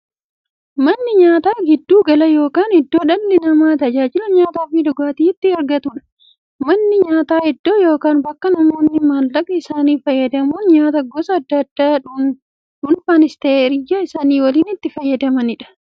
Manni nyaataa giddu gala yookiin iddoo dhalli namaa taajila nyaataafi dhugaatii itti argatuudha. Manni nyaataa iddoo yookiin bakka namoonni maallaqa isaanii fayyadamuun nyaataa gosa addaa addaa dhunfanis ta'ee hiriyyaa isaanii waliin itti fayyadamaniidha.